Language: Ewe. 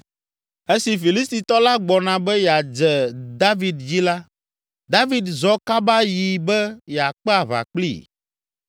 Esi Filistitɔ la gbɔna be yeadze David dzi la, David zɔ kaba yi be yeakpe aʋa kplii.